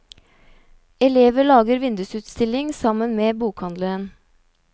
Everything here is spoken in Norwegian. Elever lager vindusutstilling sammen med bokhandelen.